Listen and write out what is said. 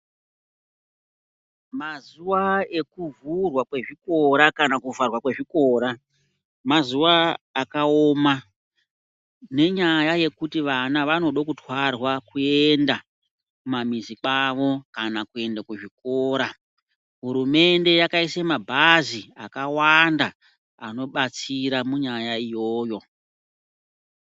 Mazuva ekuvhurwa kwezvikora kana kuvharwa kwezvikora. Mazuva akaoma nenyaya yekuti vana vanode kutwarwa kuenda kumamizi kwavo kana kuenda kuzvikora. Hurumende yakaise mabhazi akawanda anobatsira munyaya iyoyo.